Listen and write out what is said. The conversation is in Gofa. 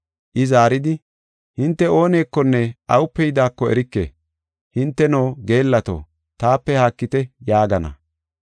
“I zaaridi, ‘Hinte oonekonne awupe yidaako erike. Hinteno, geellato taape haakite’ yaagana.